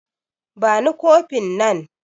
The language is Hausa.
Bani kofin nan